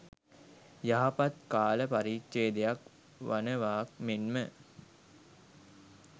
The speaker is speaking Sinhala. යහපත් කාල පරිච්ඡේදයක් වනවාක් මෙන් ම